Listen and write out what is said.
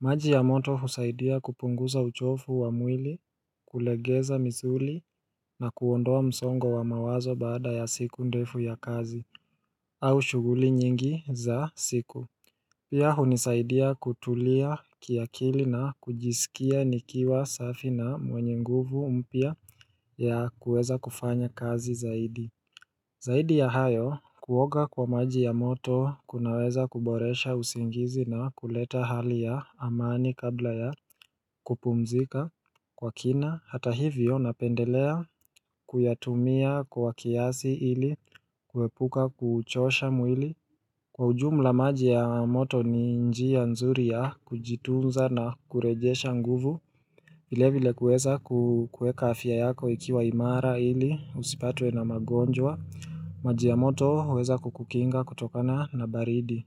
maji ya moto husaidia kupunguza uchovu wa mwili kulegeza misuli na kuondoa msongo wa mawazo baada ya siku ndefu ya kazi au shughuli nyingi za siku Pia hunisaidia kutulia kiakili na kujisikia nikiwa safi na mwenye nguvu mpya ya kuweza kufanya kazi zaidi Zaidi ya hayo kuoga kwa maji ya moto kunaweza kuboresha usingizi na kuleta hali ya amani kabla ya kupumzika Kwa kina hata hivyo napendelea kuyatumia kwa kiasi ili kuepuka kuchosha mwili Kwa ujumla maji ya moto ni njia nzuri ya kujitunza na kurejesha nguvu. Vilevile kueza kueka afya yako ikiwa imara ili usipatwe na magonjwa. Maji ya moto huweza kukukinga kutokana na baridi.